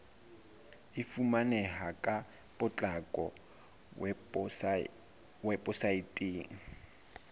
e fumaneha ka potlako weposaeteng